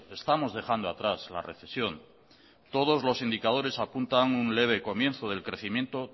estamos dejando atrás la recesión todos los indicadores apuntan un leve comienzo del crecimiento